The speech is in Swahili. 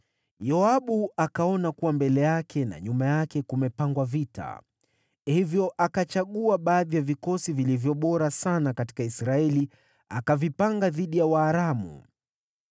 Yoabu akaona kuwa mbele yake na nyuma yake kumepangwa vita; kwa hiyo akachagua baadhi ya vikosi vilivyo bora sana katika Israeli akavipanga dhidi ya Waaramu.